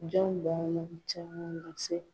Jɔn ba caman na se